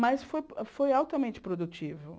Mas foi foi altamente produtivo.